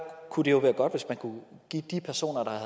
kunne det jo være godt hvis man kunne give de personer der er